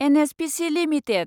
NHPC limited